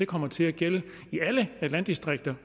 kommer til at gælde i alle landdistrikter